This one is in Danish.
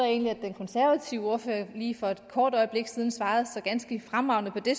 egentlig at den konservative ordfører lige for et kort øjeblik siden svarede så ganske fremragende på det